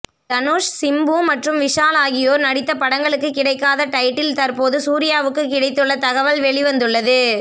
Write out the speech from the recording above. தனுஷ் சிம்பு மற்றும் விஷால் ஆகியோர் நடித்த படங்களுக்கு கிடைக்காத டைட்டில் தற்போது சூர்யாவுக்கு கிடைத்துள்ள தகவல் வெளிவந்துள்ளது